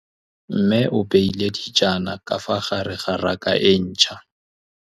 Mmê o beile dijana ka fa gare ga raka e ntšha.